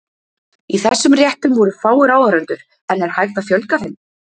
Í þessum réttum voru fáir áhorfendur, en er hægt að fjölga þeim?